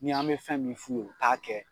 Ni an mɛ fɛn min f'u ye u t'a kɛ.